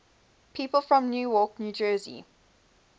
people from newark new jersey